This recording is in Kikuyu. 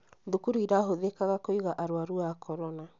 Thukuru irahũthĩkaga kũiga arwaru a korona